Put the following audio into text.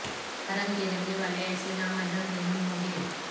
حرم کے رہنے والے ایسے نا محرم نہیں ہونگے